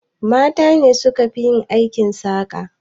Mata ne suka fi yin aikin saƙa.